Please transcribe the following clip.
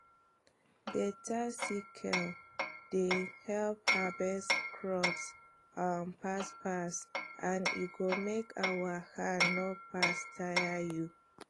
beta sickle dey help harvest crops um fast fast and e go make our hand no fast tire you